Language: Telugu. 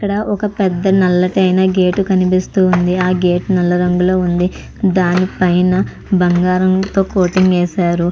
ఇక్కడ ఒక పెద్ద నల్లటైన గేటు కనిపిస్తుంది. ఆ గేట్ నల్ల రంగులో ఉంది. దానిపైన బంగారంతో కోటింగ్ వేశారు.